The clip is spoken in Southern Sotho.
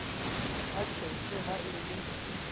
ba tjhetjhe ha e le